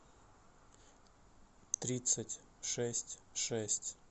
тридцать шесть шесть